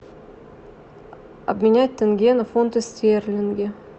обменять тенге на фунты стерлинги